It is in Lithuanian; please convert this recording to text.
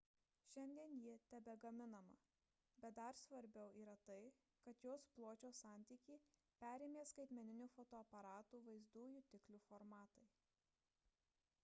šiandien ji tebegaminama bet dar svarbiau yra tai kad jos pločio santykį perėmė skaitmeninių fotoaparatų vaizdo jutiklių formatai